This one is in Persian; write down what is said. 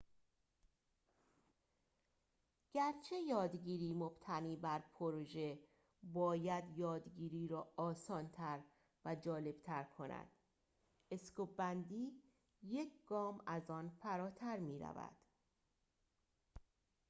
گرچه یادگیری مبتنی بر پروژه باید یادگیری را آسان‌تر و جالب‌تر کند سکوب‌بندی یک گام از آن فراتر می‌رود